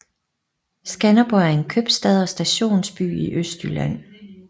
Skanderborg er en købstad og stationsby i Østjylland